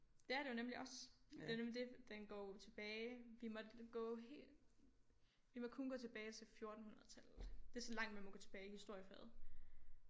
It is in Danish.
Det er det jo nemlig også det er jo nemlig det den går jo tilbage vi måtte gå helt vi må kun gå tilbage til fjortenhundredetallet det er så langt man må gå tilbage i historiefaget